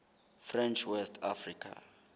french west africa